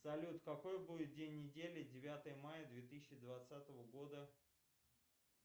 салют какой будет день недели девятого мая две тысячи двадцатого года